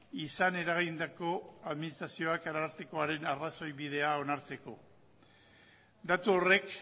izan eragindako administrazioak arartekoaren arrazoi bidea onartzeko datu horrek